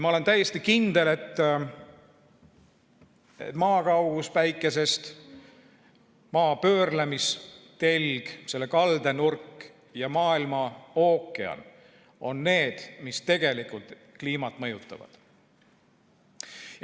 Ma olen täiesti kindel, et Maa kaugus Päikesest, Maa pöörlemise telg, selle kaldenurk ja maailmaookean on need, mis tegelikult kliimat mõjutavad.